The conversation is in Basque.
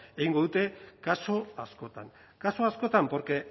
egingo dute kasu askotan kasu askotan porque